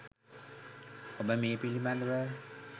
ඔබ මේ පිළිබඳව